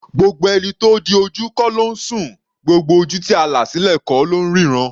Gbogbo ẹni tó di ojú kọ́ ló ńsùn; gbogbo ojú tí a là sílẹ̀ kọ́ ló ńríran.